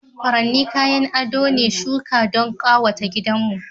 furanni kayan ado ne shuka don kawata gidanmu